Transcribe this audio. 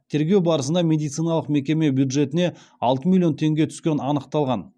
тергеу барысына медициналық мекеме бюджетіне алты миллион теңге түскені анықталған